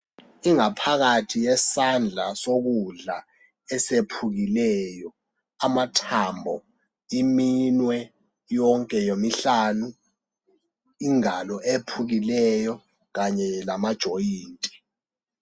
Ingaphakathi yesandla sokudla esephukileyo, amathambo iminwe yonke yomihlanu. Ingalo ephukileyo kanye lamajoyinti.